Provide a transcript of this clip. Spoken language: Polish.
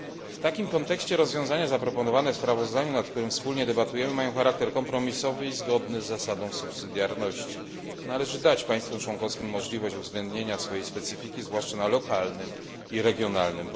W takim kontekście rozwiązania zaproponowane w sprawozdaniu, nad którym wspólnie debatujemy, mają charakter kompromisowy i zgodny z zasadą subsydiarności. Należy dać państwom członkowskim możliwość uwzględnienia własnej specyfiki, zwłaszcza na poziomie lokalnym i regionalnym.